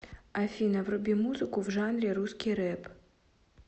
афина вруби музыку в жанре русский рэп